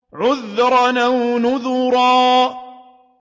عُذْرًا أَوْ نُذْرًا